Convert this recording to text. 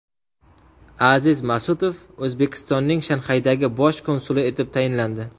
Aziz Masutov O‘zbekistonning Shanxaydagi bosh konsuli etib tayinlandi.